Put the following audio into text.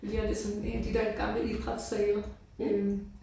Ligner lidt sådan en af de der gamle idrætssale øh